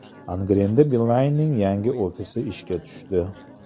Angrenda Beeline’ning yangi ofisi ishga tushdi.